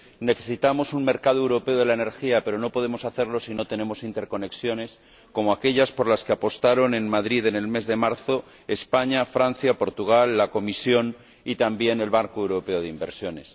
Necesitamos un mercado europeo de la energía, pero no podemos hacerlo si no tenemos interconexiones como aquellas por las que apostaron en Madrid, en el mes de marzo, España, Francia, Portugal, la Comisión y, también, el Banco Europeo de Inversiones.